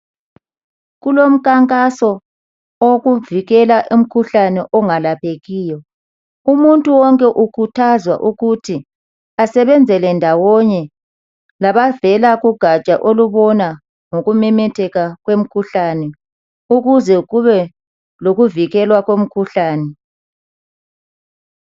Kulomkhankaso owokuvikela umkhuhlane ongalaphekiyo umuntu wonke ukhuthazwa ukutho asebenzele ndawonye labavela kugatsha olubona ngokumemetheka kwemkhuhlani ukuze kube lokuvikelwa komkhuhlani.